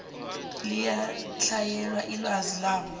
liyatlhayela ilwazi labo